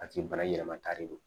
A tigi bana yɛlɛma kari don